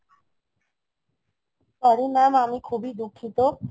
sorry Mam আমি খুবই দুঃখিত